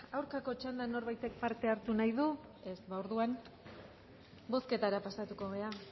aurkako txandan norbaitek parte hartu nahi du ez orduan bozketara pasatuko gara